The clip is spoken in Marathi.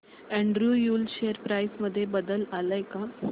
एंड्रयू यूल शेअर प्राइस मध्ये बदल आलाय का